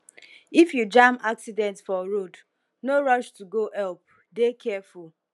if you jam accident for road no rush to go help dey careful